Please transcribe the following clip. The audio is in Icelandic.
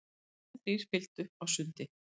Hestarnir þrír fylgdu á sundi.